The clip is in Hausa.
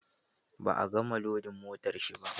Ba a gama lodin motar shi ba.